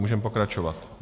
Můžeme pokračovat.